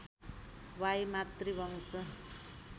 why मातृवंश